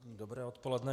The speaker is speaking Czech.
Dobré odpoledne.